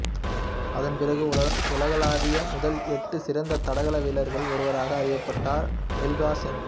அதன்பிறகு உலகளவில் முதல் எட்டு சிறந்த தடகள வீரர்களில் ஒருவராக அறியப்பட்டார் மில்கா சிங்